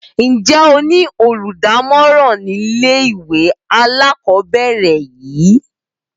Ǹjẹ́ ẹ ní olùdámọ̀ràn nílé ìwé alákọ̀ọ́bẹ̀rẹ̀ yin?